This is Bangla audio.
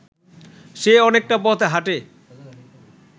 সে অনেকটা পথ হাঁটে